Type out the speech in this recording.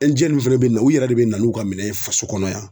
minnu fɛnɛ bina u yɛrɛ de bina n'u ka minɛn ye faso kɔnɔ yan.